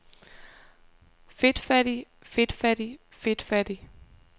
fedtfattigt fedtfattigt fedtfattigt